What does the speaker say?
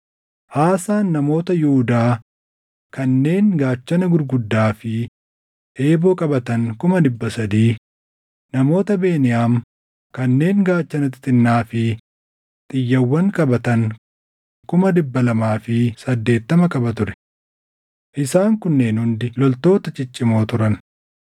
Aasaan namoota Yihuudaa kanneen gaachana gurguddaa fi eeboo qabatan kuma dhibba sadii, namoota Beniyaam kanneen gaachana xixinnaa fi xiyyawwan qabatan kuma dhibba lamaa fi saddeettama qaba ture. Isaan kunneen hundi loltoota ciccimoo turan.